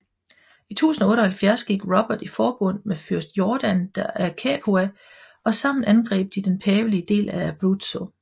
I 1078 gik Robert i forbund med fyrst Jordan af Capua og sammen angreb de den pavelige del af Abruzzo